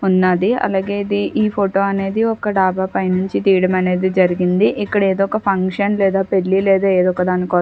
ఉన్నదీ అలాగే ఇది ఈ ఫొటో అనేది ఒక డాబా పై నుంచి తీయడం అనేది జరిగింది ఇక్కడ ఇదొక ఫంక్షన్ లేదా పెళ్లి లేదా ఎదోకదాని కోసం --